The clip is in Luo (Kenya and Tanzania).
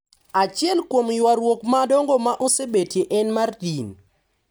Achiel kuom yuaruok madongo ma osebetie en mar din